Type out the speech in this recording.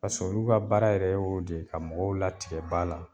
Kasɔrɔ olu ka baara yɛrɛ y'o de ye ka mɔgɔw latigɛ ba la.